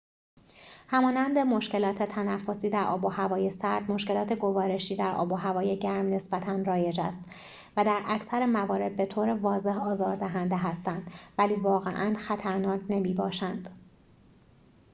همانند مشکلات تنفسی در آب‌وهوای سرد مشکلات گوارشی در آب‌وهوای گرم نسبتاً رایج است و در اکثر موارد بطور واضح آزار دهنده هستند ولی واقعاً خطرناک نمی‌باشند